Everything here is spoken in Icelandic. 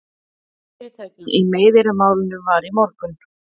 Fyrirtaka í meiðyrðamálinu var í morgun